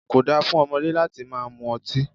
Ko dáa fún ọmọdé láti máa mú ọtí.